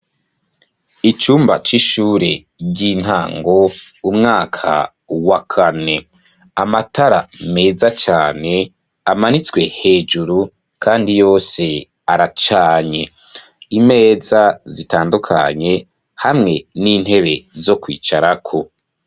Icumba c'ishure ry'intango umwaka wa kane amatara meza cane amanitswe hejuru kandi yose aracanye imeza zitandukanye hamwe n'intebe zo kwicarako.